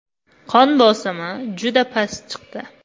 Qon bosimi juda past chiqdi.